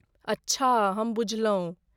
अच्छा, हम बुझलहुँ।